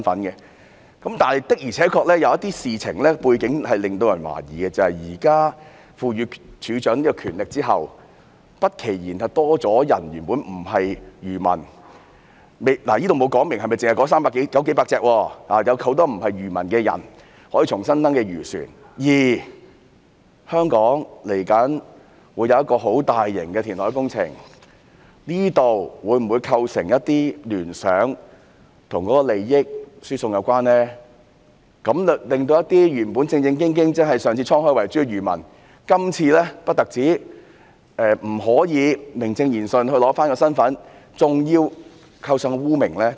然而，有些事情背景的確令人懷疑，《條例草案》現時賦予漁護署署長權力之後，由於沒有指明是否只容許那300多艘漁船重新登記，不期然會有很多原本不是漁民的人登記漁船，而香港未來會有一個很大型的填海工程，這會否因而構成一些與利益輸送有關的聯想，令到一些正正經經但上次滄海遺珠的漁民，今次不單不可以名正言順地取回身份，還要背上污名？